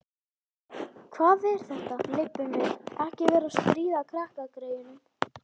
Hvað er þetta, Leibbi minn. ekki vera að stríða krakkagreyjunum!